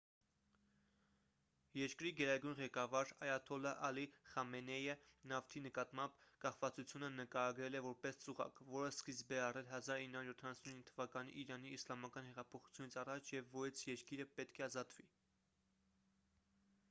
երկրի գերագույն ղեկավար այաթոլլահ ալի խամենեյը նավթի նկատմամբ կախվածությունը նկարագրել է որպես ծուղակ որը սկիզբ է առել 1979 թվականի իրանի իսլամական հեղափոխությունից առաջ և որից երկիրը պետք է ազատվի